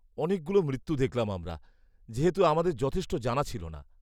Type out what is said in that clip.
অনেকগুলো মৃত্যু দেখলাম আমরা, যেহেতু আমাদের যথেষ্ট জানা ছিল না।